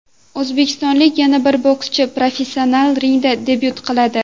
O‘zbekistonlik yana bir bokschi professional ringda debyut qiladi.